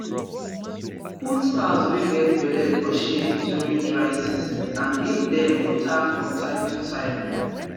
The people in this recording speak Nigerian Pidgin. put cows wey get belle for shade during dry seasons and give dem water from time to time